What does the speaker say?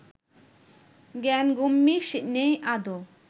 জ্ঞানগম্যি নেই আদৌ